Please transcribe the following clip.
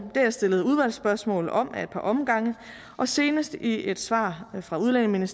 har jeg stillet udvalgsspørgsmål om ad et par omgange og senest i et svar fra udlændinge